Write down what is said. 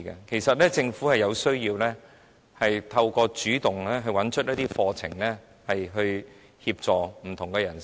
其實，政府有需要主動找出適合的課程，以協助不同的人士。